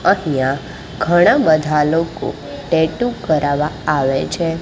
અહીંયા ઘણા બધા લોકો ટેટુ કરાવવા આવે છે.